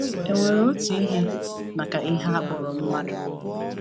E nwere otu ihe maka ihe a kpọrọ mmadụ?